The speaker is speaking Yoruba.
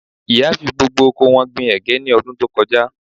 Ìyá fi gbogbo oko wọn gbin ẹ̀gẹ́ ní ọdún tó kọjá